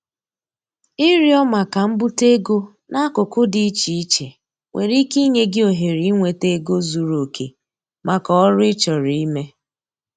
Ịrịọ maka mbute ego n'akụkụ dị iche iche nwere ike inye gị ohere inweta ego zuru oke maka oru ị chọrọ ime.